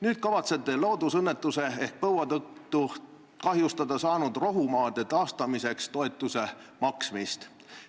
Nüüd te kavatsete loodusõnnetuse ehk põua tõttu kahjustada saanud rohumaade taastamiseks toetuste maksmist.